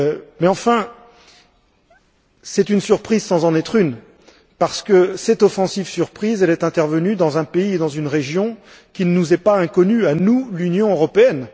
Mais enfin, c'est une surprise sans en être une, parce que cette offensive surprise est intervenue dans un pays, dans une région, qui ne nous sont pas inconnus à nous, l'Union européenne.